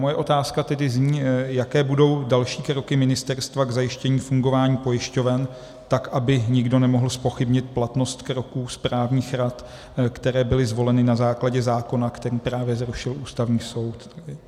Moje otázka tedy zní, jaké budou další kroky ministerstva k zajištění fungování pojišťoven tak, aby nikdo nemohl zpochybnit platnost kroků správních rad, které byly zvoleny na základě zákona, který právě zrušil Ústavní soud.